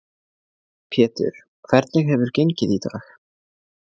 Pétur, hvernig hefur gengið í dag?